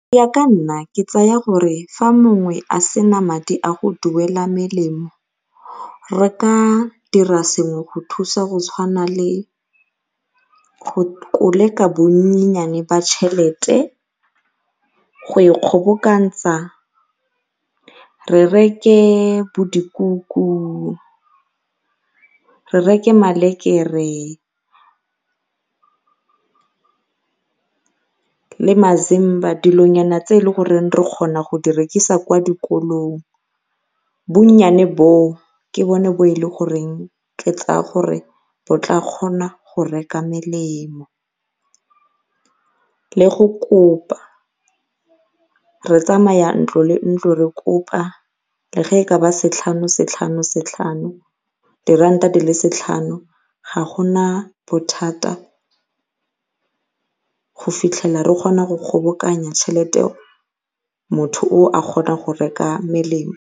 ka nna ke tseya gore fa mongwe a sena madi a go duela melemo re ka dira sengwe go thusa go tshwana le go koleka bonyenyane ba tšhelete, go e kgobokantsa re reke bo dikuku, re reke malekere le mazimba dilonyana tse e leng gore re kgona go di rekisa kwa dikolong bonnyane boo ke bone bo e le goreng ke tlaa kgona go reka melemo le go kopa re tsamaya ntlo le ntlo re kopa le ge e ka ba setlhano setlhano setlhano, diranta di le setlhano ga gona bothata go fitlhela re kgona go kgobokanya tšhelete eo motho oo a kgone go reka melemo.